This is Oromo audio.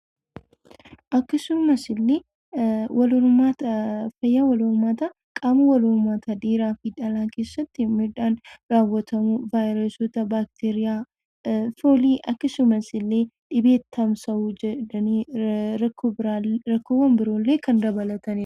Akkasumas illee wal hormaata fayyaa wal hormaataa qaama wal hormaata dhiiraa fi dhalaa keessatti miidhaan raawwatamuun vaayirasoota baakteeriyaa, foolii akkasumas illee dhibee tamsa'uun rakkoo biroollee kan dabalatanidha.